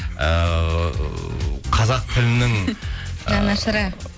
ыыы қазақ тілінің жанашыры